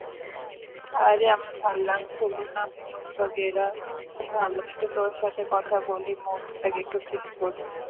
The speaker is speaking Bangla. খুব ভালো একটু তোর সাথে কথা বলি। mood টা একটু ঠিক করি।